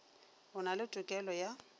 o na le tokelo ya